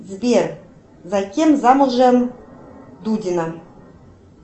сбер за кем замужем дудина